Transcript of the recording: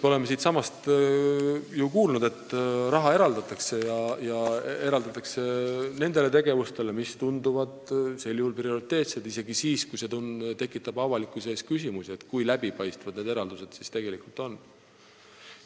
Me oleme siinsamas kuulnud, kuidas raha eraldatakse ja eraldatakse tegevustele, mis tunduvad prioriteetsed isegi siis, kui need tekitavad avalikkuse ees küsimusi, kui läbipaistvad need eraldused tegelikult on.